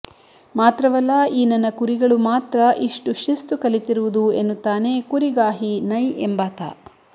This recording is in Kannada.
ಮಾತ್ರವಲ್ಲ ಈ ನನ್ನ ಕುರಿಗಳು ಮಾತ್ರ ಇಷ್ಟು ಶಿಸ್ತು ಕಲಿತಿರುವುದು ಎನ್ನುತ್ತಾನೆ ಕುರಿಗಾಹಿ ನೈ ಎಂಬಾತ